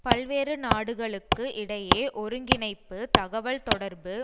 பல்வேறு நாடுகளுக்கு இடையே ஒருங்கிணைப்பு தகவல்தொடர்பு